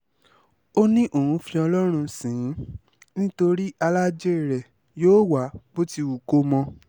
ó ní òun fi ọlọ́run sìn ín nítorí alájẹ́ rẹ̀ yóò wá bó ti wù kó mọ